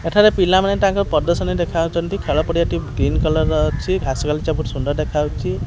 ଏଠାରେ ପିଲା ମାନେ ତାଙ୍କ ପ୍ରଦର୍ଶନି ଦେଖାଉଚନ୍ତି। ଖେଳ ପଡ଼ିଆ ଟି ଗ୍ରୀନ୍ କଲର୍ ର ଅଛି। ଘାସ ବାଲି ଚା ବହୁତ୍ ସୁନ୍ଦର୍ ଦେଖା ହେଉଚି।